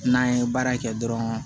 N'an ye baara in kɛ dɔrɔn